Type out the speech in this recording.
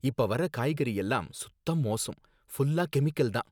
இப்ப வர காய்கறியெல்லாம் சுத்த மோசம், ஃபுல்லா கெமிக்கல் தான்